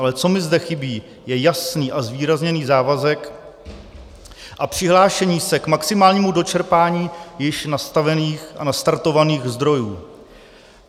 Ale co mi zde chybí, je jasný a zvýrazněný závazek a přihlášení se k maximálnímu dočerpání již nastavených a nastartovaných zdrojů.